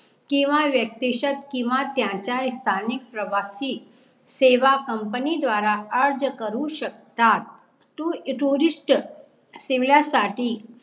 किंवा व्यक्तिशत किंवा त्याचा स्थानीक प्रवाशी सेवा COMPANY द्वारा अर्ज करु शकतात TOURIST सेव्यासाठी